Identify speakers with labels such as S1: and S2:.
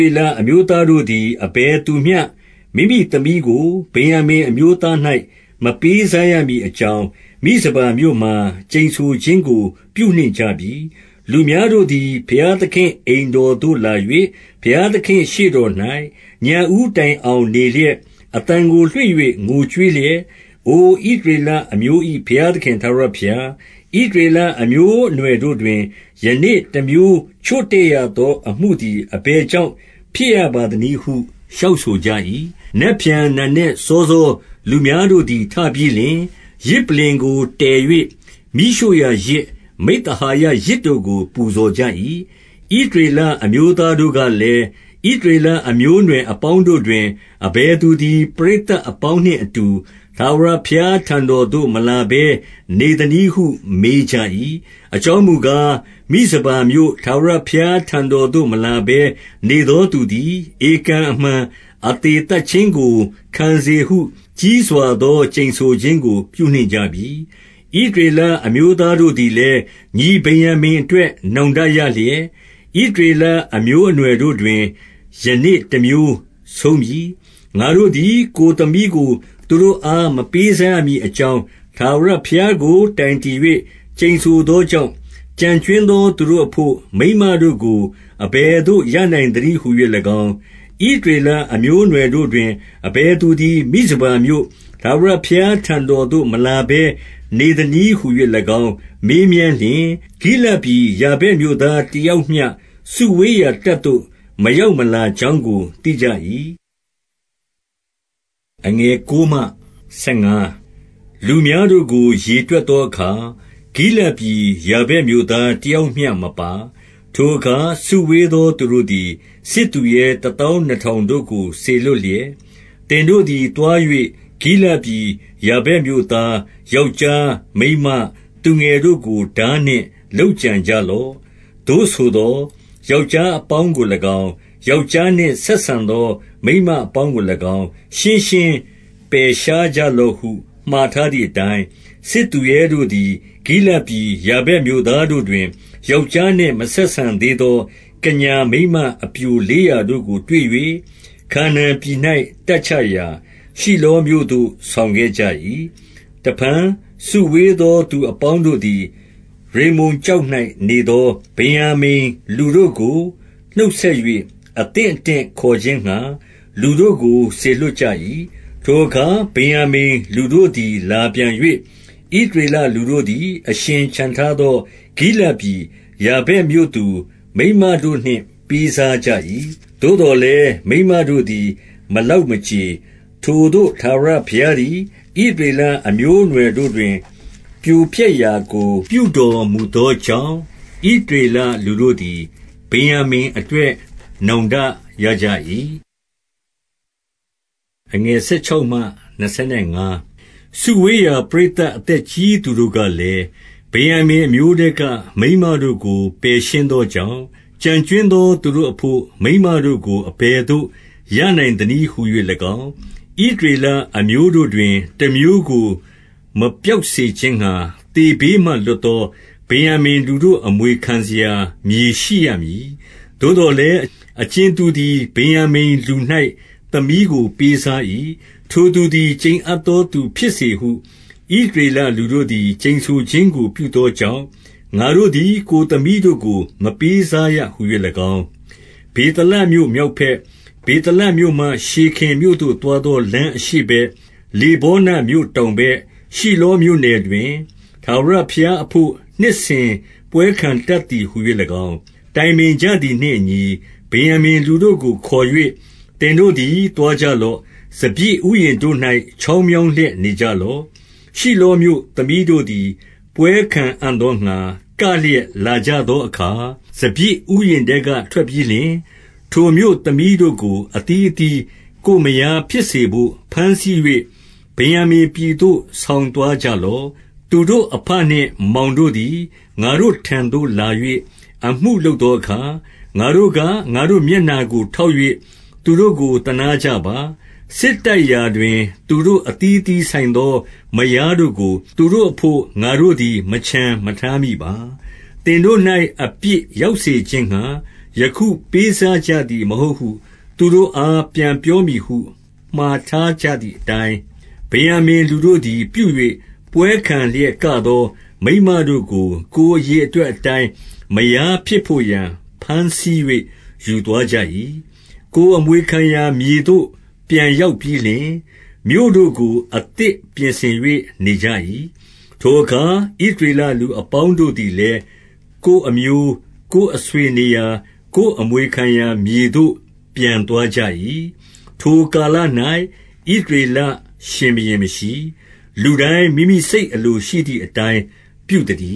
S1: ေလအမျိုးသားတို့သည် အဘယ်သူမျှ မိမိသမီးကို ဗင်္ယာမိန်အမျိုးသား၌ မပေးစားရမည် အကြောင်း၊ မိဇပါမြို့မှာ ကျိန်ဆိုခြင်းကို ပြုနှင့်ကြပြီ။ 2 လူများတို့သည် ဘုရားသခင့် အိမ်တော်သို့ လာ၍ ဘုရားသခင့် ရှေ့တော်၌ ညဦးတိုင်အောင် နေလျက်၊ အသံကို လွှင့်၍ ငိုကြွေးလျက်၊- 3 အိုဣသရေလအမျိုး၏ ဘုရားသခင် ထာဝရဘုရား၊ ဣသရေလအမျိုးအနွယ်တို့တွင် ယနေ့တမျိုး ချို့တဲ့ရသော အမှုသည် အဘယ်ကြောင့် ဖြစ်ရပါသနည်းဟု လျှောက်ဆိုကြ၏။ 4 နက်ဖြန်နံနက်စောစော လူများတို့သည် ထပြီးလျှင်၊ ယဇ်ပလ္လင်ကိုတည်၍ မီးရှို့ရာယဇ်၊ မိဿဟာယ ယဇ်တို့ကို ပူဇော်ကြ၏။ 5 ဣသရေလအမျိုးသားတို့ကလည်း၊ ဣသရေလအမျိုးအနွယ်အပေါင်းတို့တွင် အဘယ်သူသည် ပရိ သတ်အပေါင်းနှင့်အတူ ထာဝရဘုရားထံတော်သို့ မလာဘဲနေသနည်းဟု မေးကြ၏။ အကြောင်း မူကား၊ မိဇပါမြို့ထာဝရဘုရားထံတော်သို့ မလာဘဲ နေသောသူသည် ဧကန်အမှန် အသေသတ်ခြင်းကို ခံစေဟု ကြီးစွာသော ကျိန်ဆိုခြင်းကို ပြုနှင့်ကြပြီ။ 6 ဣသရေလအမျိုးသားတို့သည်လည်း၊ ညီဗင်္ယာမိန်အတွက် နောင်တရလျက်၊ ဣသရေလ အမျိုးအနွယ် တို့တွင် ယနေ့တမျိုးဆုံးပြီ။ 7 ငါတို့သည် ကိုယ်သမီးကို သူတို့အား မပေးစားရမည်အကြောင်း၊ ထာဝရဘုရားကို တိုင်တည်၍ ကျိန်ဆိုသောကြောင့်၊ ကျန်ကြွင်းသော သူတို့အဘို့ မိန်းမတို့ကို အဘယ်သို့ ရနိုင်သနည်းဟူ၍၎င်း၊ 8 ဣသရေလအမျိုးအနွယ်တို့တွင် အဘယ်သူသည် မိဇပါမြို့ ထာဝရဘုရားထံတော်သို့ မလာဘဲ နေသနည်းဟူ၍၎င်း မေးမြန်းလျှင်၊ ဂိလဒ်ပြည်ယာ ဗက်မြို့သားတယောက်မျှ စုဝေးရာ တပ်သို့ မရောက်မလာကြောင်းကို သိကြ၏။ 9 လူများတို့ကို ရေတွက်သောအခါ၊ ဂိလဒ်ပြည်ယာဗက်မြို့သားတယောက်မျှမပါ။ 10 ထိုအခါ စုဝေးသော သူတို့သည် စစ်သူရဲတသောင်းနှစ်ထောင်တို့ကို စေလွှတ်လျက်၊ သင်တို့သည် သွား၍ ဂိလဒ်ပြည် ယာဗက်မြို့သားယောက်ျား မိန်းမသူငယ်တို့ကို ထားနှင့်လုပ်ကြံကြလော့။ 11 သို့ဆိုသော်၊ ယောက်ျားအပေါင်းကို၎င်း၊ ယောက်ျားနှင့်ဆက်ဆံသော မိန်းမအပေါင်းကို၎င်း၊ ရှင်းရှင်း ပယ်ရှားကြလော့ဟု မှာထားသည်အတိုင်း၊- 12 စစ်သူရဲတို့သည် ဂိလဒ်ပြည် ယာဗက်မြို့သားတို့တွင်၊ ယောက်ျားနှင့် မဆက်ဆံသေးသော ကညာ မိန်းမပျိုလေးရာတို့ကို တွေ့၍ ခါနာန်ပြည်၌ တပ်ချရာ၊ ရှိလောမြို့သို့ ဆောင်ခဲ့ကြ၏။ 13 တဖန်စုဝေးသော သူအပေါင်းတို့သည်၊ ရိမ္မုန်ကျောက်၌နေသော ဗင်္ယာမိန်လူတို့ကို နှုတ်ဆက်၍ အသင့်အတင့်ခေါ်ခြင်းငှါ လူတို့ကို စေလွှတ်ကြ၏။ 14 ထိုအခါ ဗင်္ယာမိန်လူတို့သည် လာပြန်၍၊ ဣသရေလလူတို့သည် အရှင်ချန်ထားသော ဂိလဒ်ပြည် ယာဗက်မြို့သူ မိန်းမတို့နှင့် ပေးစားကြ၏။ သို့သော်လည်း မိန်းမတို့သည် မလောက်မကြေ။ 15 ထိုသို့ ထာဝရဘုရားသည် ဣသရေလအမျိုးအနွယ်တို့တွင် ပြိုပျက်ရာကို ပြုတော်မူသောကြောင့်၊ ဣသရေလလူတို့သည် ဗင်္ယာမိန်အတွက် နောင်တရကြ၏။ 16 စုဝေးရာ ပရိသတ် အသက်ကြီးသူတို့ကလည်း၊ ဗင်္ယာမိန် အမျိုးထဲက မိန်းမတို့ကို ပယ်ရှင်း သောကြောင့်၊ ကျန်ကြွင်းသော သူတို့အဘို့ မိန်းမတို့ကို အဘယ်သို့ ရနိုင်သနည်းဟူ၍၎င်း၊- 17 ဣသရေလအမျိုးတို့တွင် တမျိုးကို မပျောက်စေခြင်းငှါ သေဘေးမှ လွှတ်သော ဗင်္ယာမိန်လူတို့ အမွေ ခံစရာမြေရှိရမည်။ 18 သို့သော်လည်း အကြင်သူသည် ဗင်္ယာမိန်လူ၌ သမီးကို ပေးစား၏။ ထိုသူသည် ကျိန်အပ်သောသူ ဖြစ်စေဟု ဣသရေလလူတို့သည် ကျိန်ဆိုခြင်းကို ပြုသောကြောင့် ငါတို့သည် ကိုယ်သမီးတို့ကို မပေး စားရဟူ၍၎င်း၊ 19 ဗေသလမြို့ မြောက်ဘက်၊ ဗေသလမြို့မှ ရှေခင်မြို့သို့သွားသောလမ်း အရှေ့ဘက်၊ လေဗောနမြို့တောင် ဘက်၊ ရှိလောမြို့နယ်တွင် ထာဝရဘုရားအဘို့ နှစ်စဉ် ပွဲခံတတ်သည်ဟူ၍၎င်း၊ တိုင်ပင်ကြသည်နှင့် အညီ၊- 20 ဗင်္ယာမိန်လူတို့ကို ခေါ်၍ သင်တို့သည် သွားကြလော့။ စပျစ်ဥယျာဉ်တို့၌ ချောင်းမြောင်းလျက်နေ ကြလော့။ ရှိလောမြို့သမီးတို့သည် ပွဲခံအံ့သောငှါ ကလျက်လာကြသောအခါ၊- 21 စပျစ်ဥယျာဉ်ထဲက ထွက်ပြီးလျှင်၊ ထိုမြို့သမီးတို့ကို အသီးအသီး ကိုယ်မယားဖြစ်စေဘို့ ဘမ်းဆီး၍ ဗင်္ယာမိန်ပြည်သို့ ဆောင်သွားကြလော့။ 22 သူတို့အဘနှင့်မောင်တို့သည် ငါတို့ထံသို့လာ၍ အမှုလုပ်သောအခါ၊ ငါတို့က ငါတို့မျက်နှာကို ထောက်၍ သူတို့ကို သနားကြပါ။ စစ်တိုက်ရာတွင် သူတို့ အသီးအသီးဆိုင်သော မယားတို့ကို သူတို့ အဘို့ ငါတို့သည် မချန်မထားမိပါ။ သင်တို့၌ အပြစ်ရောက်စေခြင်းငှါ ယခုပေးစားကြသည် မဟုတ်ဟု သူတို့အား ပြန်ပြောမည်ဟု မှာထားကြသည်အတိုင်း၊- 23 ဗင်္ယာမိန်လူတို့သည်ပြု၍ ပွဲခံလျက်ကသော မိန်းမတို့ကို ကိုယ်အရေအတွက်အတိုင်း မယားဖြစ်ဘို့ ရာ ဘမ်းဆီး၍ ယူသွားကြ၏။ ကိုယ်အမွေခံရာမြေသို့ ပြန်ရောက်ပြီးလျှင်၊ မြို့တို့ကို အသစ်ပြင်ဆင်၍ နေကြ၏။ 24 ထိုအခါ ဣသရေလလူအပေါင်းတို့သည်လည်း ကိုယ်အမျိုး၊ ကိုယ်အဆွေနေရာ ကိုယ်အမွေခံရာမြေ သို့ ပြန်သွားကြ၏။ 25 ထိုကာလ၌ ဣသရေလရှင်ဘုရင်မရှိ၊ လူတိုင်း မိမိစိတ်အလိုရှိသည်အတိုင်း ပြုသတည